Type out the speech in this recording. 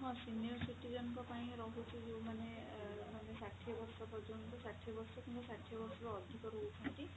ହଁ senior citizen ଙ୍କ ପାଇଁ ରହୁଛି ଯୋଊ ମାନେ ଅ ମାନେ ଷାଠିଏ ବର୍ଷ ପର୍ଯ୍ୟନ୍ତ ମାନେ ଷାଠିଏ ବର୍ଷ କିମ୍ବା ଷାଠିଏ ବର୍ଷରୁ ଅଧିକ ରହୁଛନ୍ତି